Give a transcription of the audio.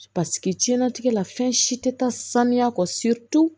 Paseke jiɲɛnatigɛ la fɛn si tɛ taa saniya kɔ